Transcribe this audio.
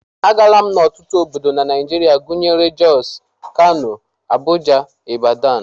Agaala m ọtụtụ obodo na Naijiria gụnyere Jos, Kano, Abuja, Ibadan